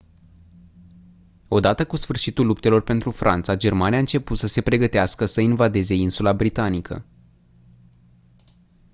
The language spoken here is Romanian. odată cu sfârșitul luptelor pentru franța germania a început să se pregătească să invadeze insula britanică